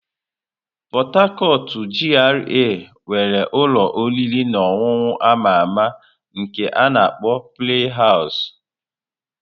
Port Harcourt GRA nwere ụlọ oriri na ọṅụṅụ a ma ama nke a na-akpọ "Play House".